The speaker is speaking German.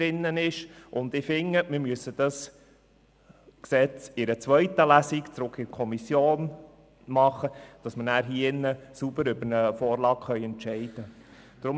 Ich finde, ein Gesetz sollte nach der ersten Lesung zurück in die Kommission genommen und dort beraten werden, damit wir anschliessend in einer zweiten Lesung sorgfältig über die Vorlage entscheiden können.